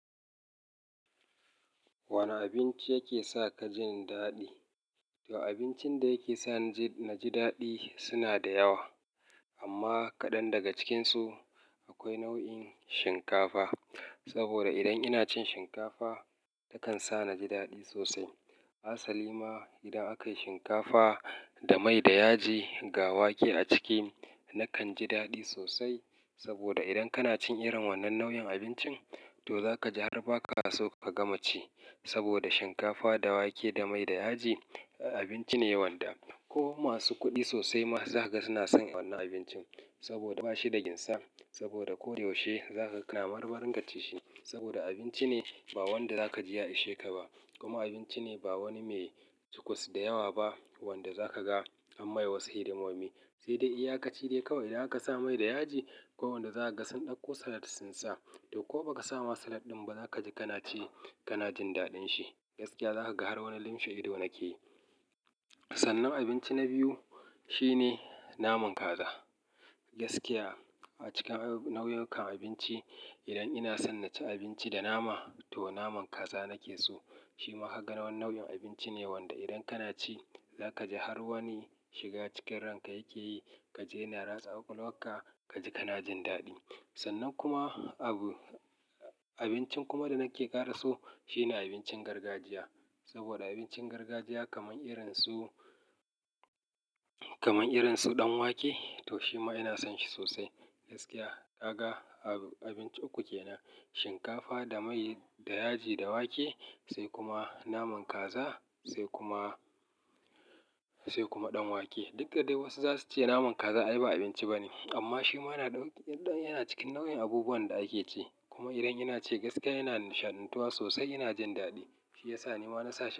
Wane abinci yake sa ka jin daɗi? To abincin da yake sa na ji daɗi suna da yawa. Amma kaɗan daga cikinsu akwai nau'in shinkafa. Saboda idan ina cin shinkafa takan sa na ji daɗi sosai. Asali ma idan akayi shinkafa da mai da yaji ga wake a ciki nakan ji daɗi sosai. Saboda idan kana cin irin wannan nau'in abincin to zaka ji har ba ka so ka gama ci. Saboda shinkafa da wake da mai da yaji abinci ne wanda ko masu kuɗi sosai ma zaka ga suna son wannan abincin. Saboda ba shi da ginsa saboda ko yaushe zakaga kana marmarin ka ci shi. Saboda abinci ne ba wanda zaka ji ya ishe ka ba kuma abinci ne ba wani mai sukus da yawa ba wanda zaka ga an mai wasu hidimomi. Sai dai iyakaci dai kawai idan aka sa mai da yaji ko wanda za ka ga sun ɗauko salat sun sa. To ko baka sa ma salad ɗin ba zaka ji kana ci kana jin daɗin shi. Gaskiya zaka ga har wani limshe ido nake yi. Sannan abinci na biyu shine naman kaza. Gaskiya a cikin nau'ukan abinci idan ina san naci abinci da nama to naman kaza nake so. Shi ma hagara nau'in abinci ne wanda idan kana ci za ka ji har wani shiga cikin ranka yake yi. Ka ji yana ratsa kwalkwalka ka ji kana jin daɗi. San nan kuma abu abincin kuma da nake kara so shine abincin gargajiya saboda abincin gargajiya kamar irin su, kamar irin su ɗan wake to shi ma ina son shi sosai. Gaskiya ka ga abinci uku kenan shinkafa da mai da yaji da wake sai kuma naman kaza sai kuma, sai kuma ɗan wake. Duk da dai wasu zasu ce naman kaza ai ba abinci bane. Amma shi ma yana ɗauke-- yana cikin nau'in abubuwan da ake ci. Kuma idan ina ci gaskiya ina nishaɗantuwa sosai ina jin daɗi. Shi yasa nima wani sashin.